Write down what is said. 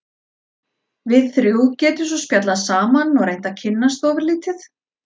Við þrjú getum svo spjallað saman og reynt að kynnast ofurlítið.